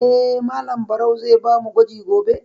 Eh, Malam Barau zai ba mu gwaji gobe.